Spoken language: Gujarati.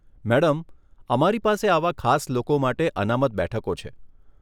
મેડમ, અમારી પાસે આવા ખાસ લોકો માટે અનામત બેઠકો છે.